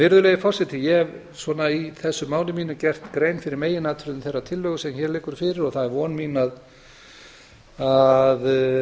virðulegi forseti ég hef í þessu máli mínu gert grein fyrir meginatriðum þeirrar tillögu sem hér liggur fyrir og það er von mín að